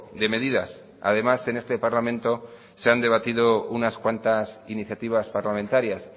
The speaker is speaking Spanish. de medidas además en este parlamento se han debatido unas cuantas iniciativas parlamentarias